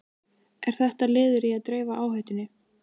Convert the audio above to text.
Er þetta liður í að dreifa áhættunni?